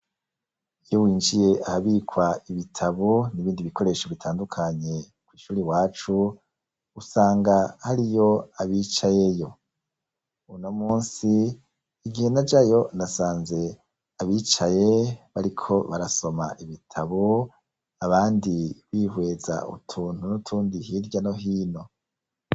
Iyo winjiye ahabikwa ibitabo n'ibindi bikoresho bitandukanye ko'ishuri i wacu usanga hari yo abicayeyo uno musi igihe na jayo nasanze abicaye bariko barasoma ibitabo abandi bihweza utua ubuntu nutundi hirya no hino.